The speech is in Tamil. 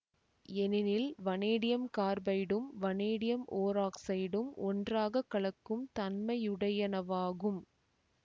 ஏனெனில் வனேடியம் கார்பைடும் வனேடியம் ஓராக்சைடும் ஒன்றாக கலக்கும் தன்மையுடையனவாகும்